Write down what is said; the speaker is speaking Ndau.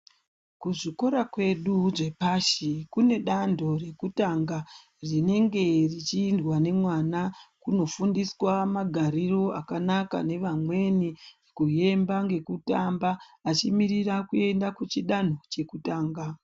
Kuzvikora kwedu zvepashi kune dando rekutanga rinenge richiindwa nemwana kuno fundiswa magariro akanaka nevamweni kuyemba ngekutamba achimirira kuenda kuchi danho cheku tanga.